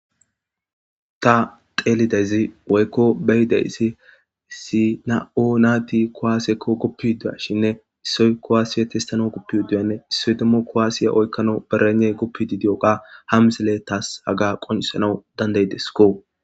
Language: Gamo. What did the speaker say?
ta teelidezi woykko beyideyssi issi na7o naati kowaasekko goppidua shinne issoy kowaasiye testano goppiuduyanne issoy demmo kowaasiye oykkano berene goppidi diyoqa hamsile taas haga qonisana dandaydeskko